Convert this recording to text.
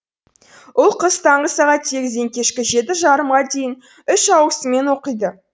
ұл қыз таңғы сағат сегізден кешкі жеті жарымға дейін үш ауысыммен оқиды